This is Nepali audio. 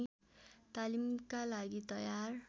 तालिमका लागि तयार